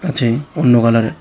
আছে অন্য কালারের।